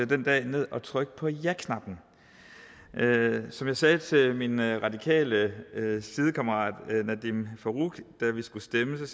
den dag ned og trykke på jaknappen som jeg sagde til min radikale sidekammerat nadeem farooq da vi skulle stemme det